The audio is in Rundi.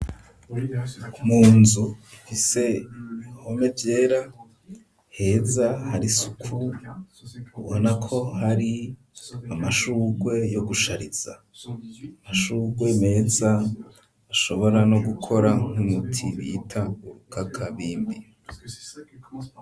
Munzu ise, ibihome vyera ,heza hari suku abona ko hari amashugwe ,yo gushariza amashugwe, meza, ashobora no gukora nk'umuti bita urukaka bindi.